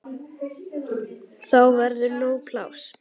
Þá verður nóg pláss.